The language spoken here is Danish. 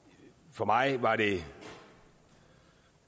for mig var det